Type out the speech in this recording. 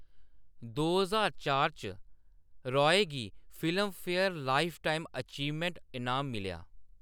दो ज्हार चार च, रॉय गी फिल्मफेयर लाइफटाइम अचीवमेंट इनाम मिलेआ।